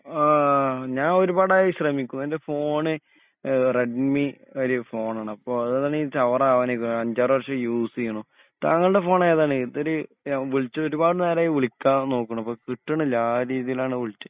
ആഹ് ഞാൻ ഒരുപാട് ആയി ശ്രമിക്കുന്നു എൻ്റെ ഫോണ് ഏഹ് റെഡ്‌മി ഒരു ഫോണാണ് അപ്പൊ അതാണെങ്കി ചവറാവാൻ ആയിക്കുന്നു അഞ്ചാറ് വർഷം യുസെയുന്നു. താങ്കളുടെ ഫോൺ ഏതാണ് ഇതൊരു വിളിച്ച് ഒരുപാട് നേരായി വിളിക്കാൻ നോക്കുന്നു ഇപ്പൊ കിട്ടണിലാ ആരേം ഇതിലാണ് വിളിച്ചേ